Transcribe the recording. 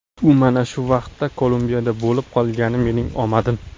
U mana shu vaqtda Kolumbiyada bo‘lib qolgani mening omadim.